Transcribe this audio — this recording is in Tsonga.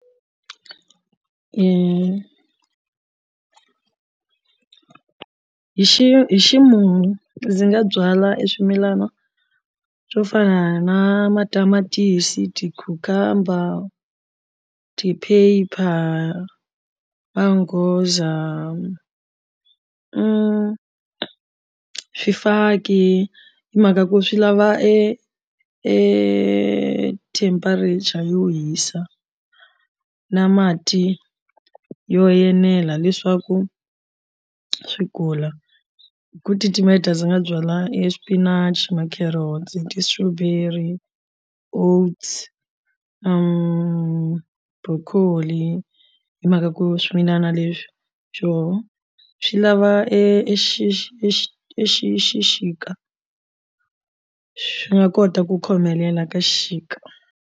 Hi hi xi hi ximumu ndzi nga byala eswimilana swo fana na matamatisi ti cucumber ti pepper mangoza swifaki hi mhaka ku swi lava e e temperature yo hisa na mati yo yenela leswaku swi kula hi ku titimeta dya ndzi nga byala e swipinachi ma carrots ti strawberry oats broccoli hi mhaka ku swimilana leswi xo swi lava e xi xi xi xi xixika swi nga kota ku khomelela ka xixika.